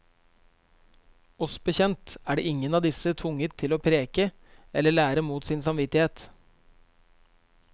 Oss bekjent er ingen av disse tvunget til å preke eller lære mot sin samvittighet.